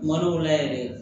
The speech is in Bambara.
Kuma dɔw la yɛrɛ